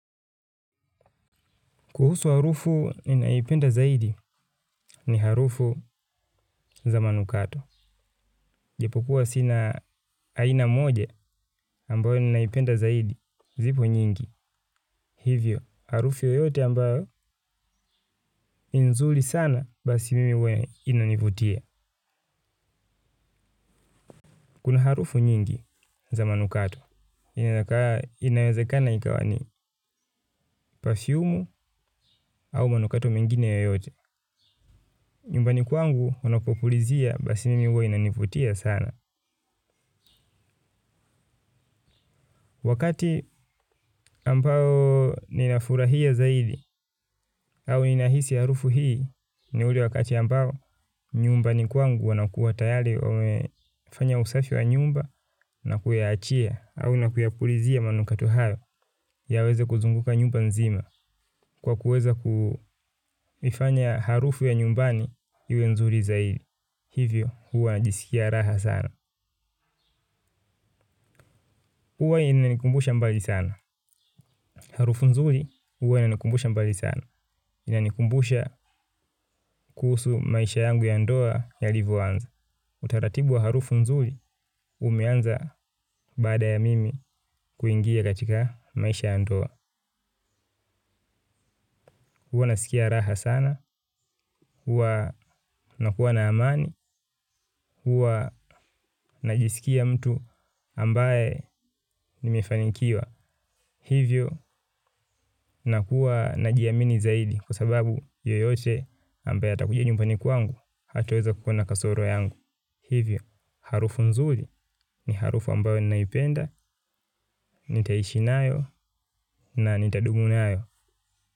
Kuhusu harufu ninayoipenda zaidi ni harufu za manukato. Japokuwa sina aina moja ambayo ninaipenda zaidi zipo nyingi. Hivyo, harufu yoyote ambayo ni nzuri sana basi mimi huwa inanivutia. Kuna harufu nyingi za manukato. Inawezekana ikawa ni perfumu au manukato mengine yoyote. Nyumbani kwangu wanapopulizia basi mimi huwa inanivutia sana. Wakati ambao ninafurahia zaidi au ninahisi harufu hii ni ule wakati ambao nyumbani kwangu wanakua tayari wamefanya usafi wa nyumba na kuyaachia au na kuyapulizia manukato hayo yaweze kuzunguka nyumba nzima kwa kuweza kufanya harufu ya nyumbani iwe nzuri zaidi. Hivyo huwa najisikia raha sana. Huwa inanikumbusha mbali sana. Harufu nzuri huwa inanikumbusha mbali sana. Inanikumbusha kuhusu maisha yangu ya ndoa yalivoanza. Utaratibu wa harufu nzuri umeanza baada ya mimi kuingia katika maisha ya ndoa. Huwa nasikia raha sana. Huwa nakua na amani. Huwa najisikia mtu ambaye nimefanikiwa. Hivyo, nakuwa najiamini zaidi kwa sababu yoyote ambaya atakuja nyumbani kwangu hatoweza kuona kasoro yangu. Hivyo, harufu nzuri ni harufu ambayo ninaipenda, nitaishi nayo na nitadumu nayo.